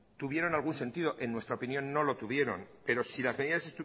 tuvieron algún sentido que en nuestra opinión no lo tuvieron pero si las medidas